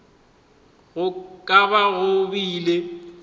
go ka ba go bile